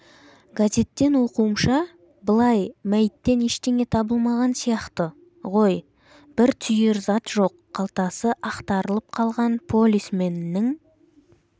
газеттен оқуымша былай мәйіттен ештеңе табылмаған сияқты ғой бір түйір зат жоқ қалтасы ақтарылып қалған полисменнің